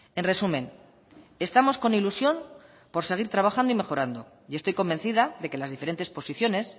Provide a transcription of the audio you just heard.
en resumen estamos con ilusión por seguir trabajando y mejorando y estoy convencida de que las diferentes posiciones